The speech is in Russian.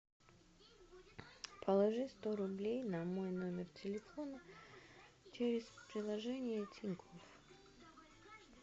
положи сто рублей на мой номер телефона через приложение тинькофф